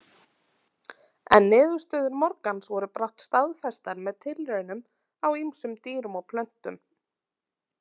En niðurstöður Morgans voru brátt staðfestar með tilraunum á ýmsum dýrum og plöntum.